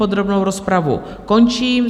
Podrobnou rozpravu končím.